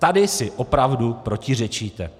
Tady si opravdu protiřečíte!